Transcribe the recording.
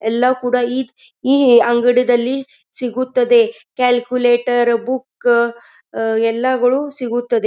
ಎಲ್ಲ ಕೂಡ ಈ ಈ ಅಂಗಡಿದಲ್ಲಿ ಸಿಗುತ್ತದೆ ಕ್ಯಾಲ್ಕುಲೇಟರ್ ಬುಕ್ ಎಲ್ಲಗಳು ಸಿಗುತ್ತದೆ.